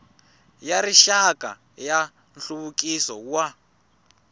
ya rixaka ya nhluvukiso wa